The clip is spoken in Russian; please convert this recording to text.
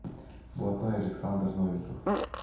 блатной александр новиков